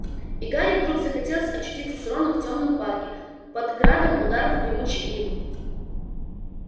и гарри вдруг захотелось очутиться с роном в тёмном парке под градом ударов гремучей ивы